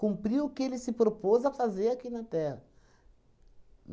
o que ele se propôs a fazer aqui na Terra.